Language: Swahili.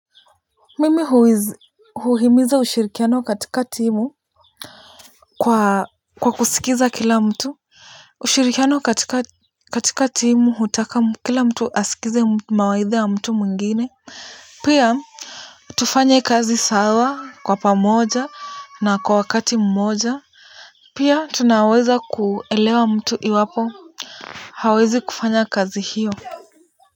Mimi huhimiza ushirikiano katika timu. Kwa kwa kusikiza kila mtu. Ushirikiano katika katika timu hutaka kila mtu asikize mawaidha ya mtu mwingine. Pia. Tufanye kazi sawa kwa pamoja na kwa wakati mmoja. Pia tunaweza kuelewa mtu iwapo hawezi kufanya kazi hiyo.